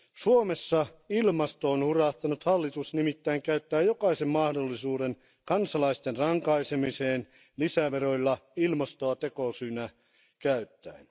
Suomessa ilmastoon hurahtanut hallitus nimittäin käyttää jokaisen mahdollisuuden kansalaisten rankaisemiseen lisäveroilla ilmastoa tekosyynä käyttäen.